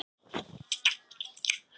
Emilíanna, slökktu á niðurteljaranum.